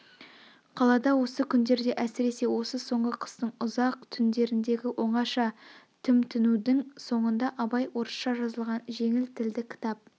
қалада осы күндерде әсресе осы соңғы қыстың ұзақ түндерндегі оңаша тімтінудің соңында абай орысша жазылған жеңіл тілді кітап